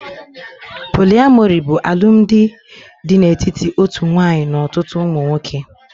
Poliamori bụ alụmdi dị n'etiti otu nwanyị n'ọtụtụ ụmụ nwoke